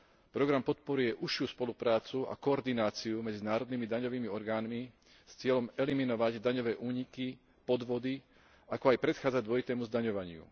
Program podporuje užšiu spoluprácu a koordináciu medzi národnými daňovými orgánmi s cieľom eliminovať daňové úniky, podvody, ako aj predchádzať dvojitému zdaňovaniu.